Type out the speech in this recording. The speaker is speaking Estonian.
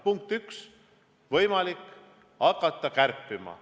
Punkt üks, võimalik on hakata kärpima.